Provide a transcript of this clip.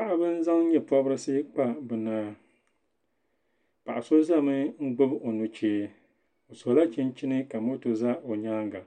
Paɣib n-zaŋ nyɛ pɔbrisi n pobi binɔya paɣisozɛmi n gbubi o nuchee osola chinchini ka moto za onyaaŋga